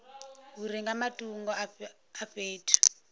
uri nga matungo a fhethu